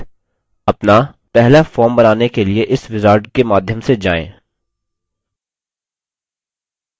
books table आधारित अपना पहला form बनाने के लिए इस wizard के माध्यम से जाएँ